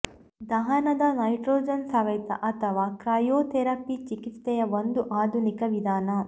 ದಹನದ nitrogen ಸವೆತ ಅಥವಾ cryotherapy ಚಿಕಿತ್ಸೆಯ ಒಂದು ಆಧುನಿಕ ವಿಧಾನ